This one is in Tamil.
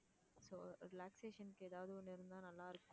relaxation க்கு ஏதாவது ஒண்ணு இருந்தா நல்லா இருக்கும்.